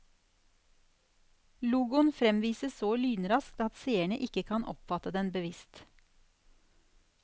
Logoen fremvises så lynraskt at seerne ikke kan oppfatte den bevisst.